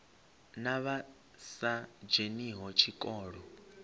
na vha sa dzheniho tshikolo